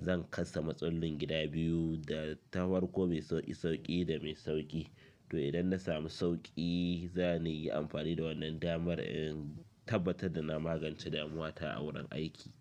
Zan kasa matsalin gida biyu da tafarko mai sauƙi sauƙi da mai sauƙi. To idan na samu sauƙi za ni yi amfani da wannan damar in tabbatar da na magance damuwa ta a wurin aiki.